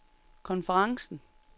konferencen